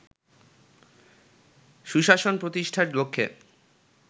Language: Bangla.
সুশাসন প্রতিষ্ঠার লক্ষ্যে